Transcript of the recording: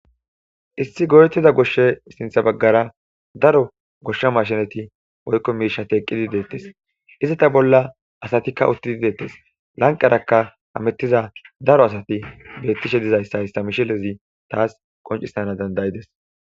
issi godetida goshshe sintha baggara daro goshsha mashinati woykko miisha eeqqidi deettes izi ta bolla asatikka uttidi deettes lanqarakka hamettiza daro asati bettishe dizayssa issa mishilezi taas qoncisana dandayides